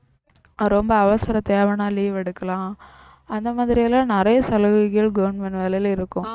ரொம்ப அவசர தேவைன்னா leave எடுக்கலாம் அந்த மாதிரில்லாம் நிறைய சலுகைகள் government வேலையில இருக்கும்